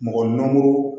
Mɔgɔ nan go